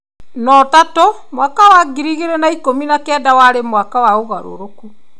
No Tatu, mwaka wa ngiri igĩrĩ na ikũmi na kenda warĩ mwaka wa ũgarũrũku.